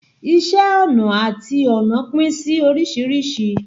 Iṣé ọnà àti ọnà pín sí oríṣìíríṣìí.